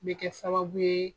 Bɛ kɛ sababu ye